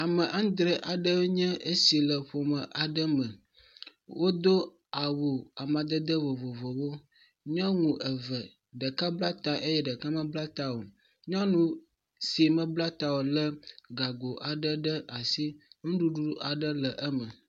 Ame aŋdre aɖewoe nye esi le ƒome aɖe me. Wodo awu amadede vovovowo. Nyɔnu eve, ɖeka bla ta eye ɖeka mebla ta o. Nyɔnu si mebla ta o lé gago aɖe ɖe asi, nuɖuɖu aɖe le eme.